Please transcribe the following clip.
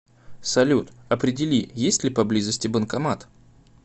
салют определи есть ли поблизости банкомат